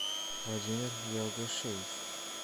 владимир ялгошевич